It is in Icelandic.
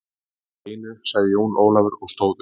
Eitt í einu, sagði Jón Ólafur og stóð upp.